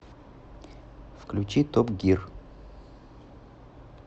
включи топ гир